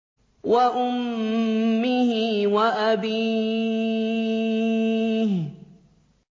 وَأُمِّهِ وَأَبِيهِ